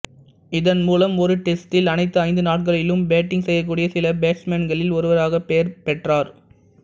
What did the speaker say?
இதன் மூலம் ஒரு டெஸ்டில் அனைத்து ஐந்து நாட்களிலும் பேட்டிங் செய்யக்கூடிய சில பேட்ஸ்மேன்களில் ஒருவராக பெயர் பெற்றார்